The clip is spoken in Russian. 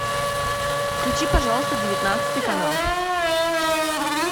включи пожалуйста девятнадцатый канал